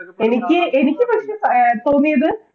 എനിക്ക് എനിക്ക് പക്ഷേ തോന്നിയത്